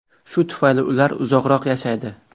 Shu tufayli ular uzoqroq yashaydi.